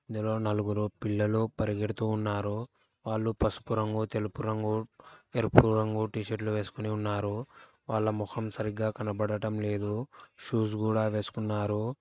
ఇందులో నలుగురు పిల్లలు పరిగెడుతూ ఉన్నారు వాళ్ళు పసుపు రంగు తెలుపు రంగు ఎరుపు రంగు టీషర్టు లు వేసుకుని ఉన్నారు వాళ్ళ మొహం సరిగా కనబడటం లేదు షూస్ గూడా వేసుకున్నారు.